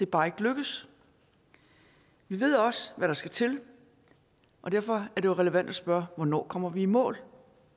bare ikke lykkedes vi ved også hvad der skal til og derfor er det jo relevant at spørge hvornår kommer vi i mål